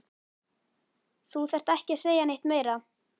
Þú þarft ekki að segja neitt meira